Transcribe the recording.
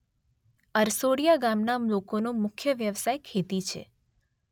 અરસોડીયા ગામના લોકોનો મુખ્ય વ્યવસાય ખેતી છે